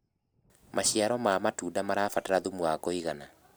maciaro ma matunda marabatara thumu wa kũigana